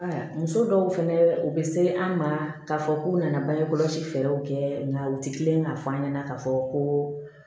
Aa muso dɔw fɛnɛ u be se an' ma k'a fɔ k'u nana bange kɔlɔsi fɛɛrɛw kɛ nka u ti kelen ka f'an ɲɛna k'a fɔ ko